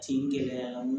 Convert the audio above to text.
Tin gɛlɛya mun